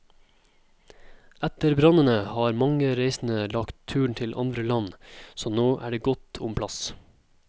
Etter brannene har mange reisende lagt turen til andre land, så nå er det godt om plass.